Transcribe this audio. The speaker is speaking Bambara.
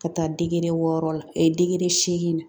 Ka taa wɔɔrɔ la seegin na